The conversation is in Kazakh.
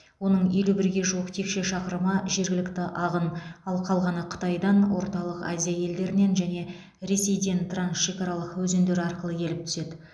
оның елу бірге жуық текше шақырымы жергілікті ағын ал қалғаны қытайдан орталық азия елдерінен және ресейден трансшекаралық өзендер арқылы келіп түседі